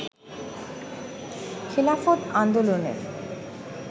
খেলাফত আন্দোলনের